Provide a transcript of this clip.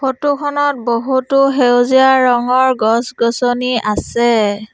Photo খনত বহুতো সেউজীয়া ৰঙৰ গছ-গছনি আছে।